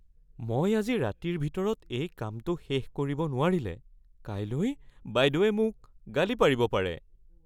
মই আজি ৰাতিৰ ভিতৰত এই কামটো শেষ কৰিব নোৱাৰিলে কাইলৈ ​​বাইদেৱে মোক গালি পাৰিব পাৰে।